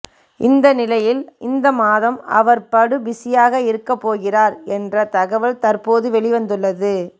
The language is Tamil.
இந்த நிலையில் இந்த மாதம் அவர் படு பிஸியாக இருக்க போகிறார் என்ற தகவல் தற்போது வெளிவந்துள்ளது